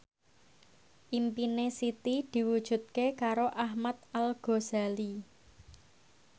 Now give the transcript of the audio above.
impine Siti diwujudke karo Ahmad Al Ghazali